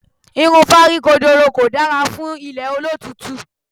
Irun fáríkodoro kò dára fún ilẹ̀ olótùútù.